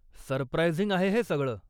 Surprising आहे हे सगळं!